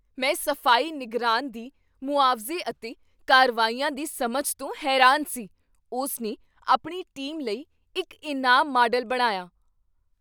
ਮੈਂ ਸਫ਼ਾਈ ਨਿਗਰਾਨ ਦੀ ਮੁਆਵਜ਼ੇ ਅਤੇ ਕਾਰਵਾਈਆਂ ਦੀ ਸਮਝ ਤੋਂ ਹੈਰਾਨ ਸੀ। ਉਸ ਨੇ ਆਪਣੀ ਟੀਮ ਲਈ ਇੱਕ ਇਨਾਮ ਮਾਡਲ ਬਣਾਇਆ।